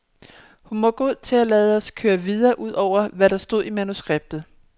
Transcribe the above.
Hun var god til at lade os køre videre ud over, hvad der stod i manuskriptet.